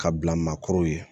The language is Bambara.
Ka bila maakɔrɔw ye